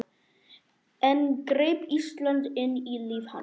Enn greip Ísland inn í líf hans.